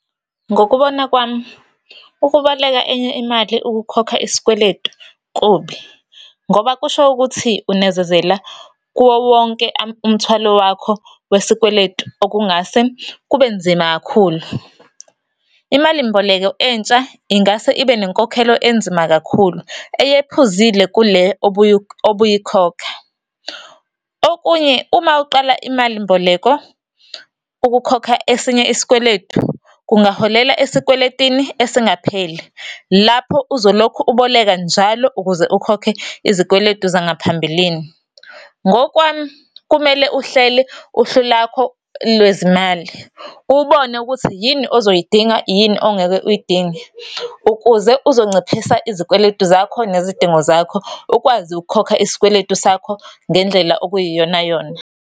Ngokubona kwami, ukuboleka enye imali ukukhokha isikweletu kubi, ngoba kusho ukuthi unezezela kuwo wonke umthwalo wakho wesikweletu, okungase kubenzima kakhulu. Imalimboleko entsha ingase ibe nenkokhelo enzima kakhulu, eyephuzile kule obuyikhokha. Okunye, uma uqala imalimboleko ukukhokha esinye isikweletu, kungaholela esikweletini esingapheli, lapho uzolokhu uboleka njalo ukuze ukhokhe izikweletu zangaphambilini. Ngokwami, kumele uhlele uhlu lakho lwezimali ubone ukuthi yini ozoyidinga, yini ongeke uyidinge. Ukuze uzonciphisa izikweletu zakho nezidingo zakho, ukwazi ukukhokha isikweletu sakho ngendlela okuyiyona yona.